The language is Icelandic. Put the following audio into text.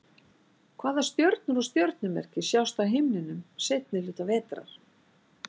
hvaða stjörnur og stjörnumerki sjást á himninum seinni hluta vetrar